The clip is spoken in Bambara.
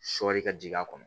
Sɔɔri ka jigin a kɔnɔ